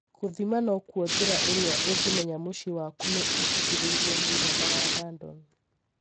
Gũthima nokuo jira irĩa ũngĩmenya mũcĩĩ waku nĩ ũtũgĩĩrĩrie mũigana wa radon.